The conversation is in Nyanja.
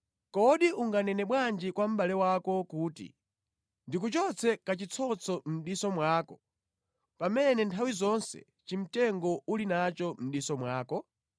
Kodi unganene bwanji kwa mʼbale wako kuti, ‘Ndikuchotse kachitsotso mʼdiso mwako,’ pamene nthawi zonse chimtengo uli nacho mʼdiso mwako?